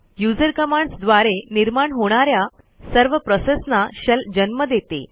user commands द्वारे निर्माण होणा या सर्व प्रोसेसना शेल जन्म देते